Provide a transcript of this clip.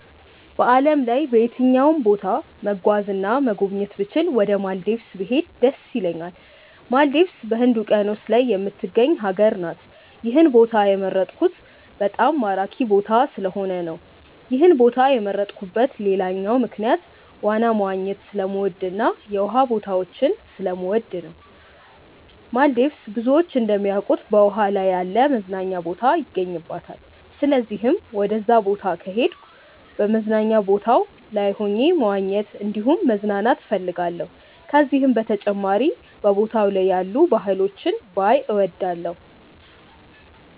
በዓለም ላይ በየትኛውም ቦታ መጓዝ እና መጎብኘት ብችል ወደ ማልዲቭስ ብሄድ ደስ ይለኛል። ማልዲቭስ በህንድ ውቂያኖስ ላይ የምትገኝ ሀገር ናት። ይህን ቦታ የመረጥኩት በጣም ማራኪ ቦታ ስለሆነ ነው። ይህን ቦታ የመረጥኩበት ሌላኛው ምክንያት ዋና መዋኘት ስለምወድ እና የውሃ ቦታዎችን ስለምወድ ነው። ማልዲቭስ ብዙዎች እንደሚያውቁት በውሃ ላይ ያለ መዝናኛ ቦታ ይገኝባታል። ስለዚህም ወደዛ ቦታ ከሄድኩ በመዝናኛ ቦታው ላይ ሆኜ መዋኘት እንዲሁም መዝናናት እፈልጋለሁ። ከዚህም በተጨማሪ በቦታው ላይ ያሉ ባህሎችን ባይ እወዳለሁ።